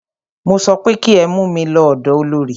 Mo sọ pé kí ẹ mú mí lọ ọ̀dọ olorì!